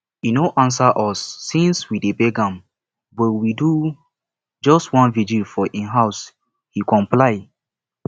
e no answer us since we dey beg am but we do just one vigil for im house he comply